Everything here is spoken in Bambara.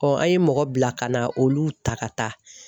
an ye mɔgɔ bila ka na olu ta ka taa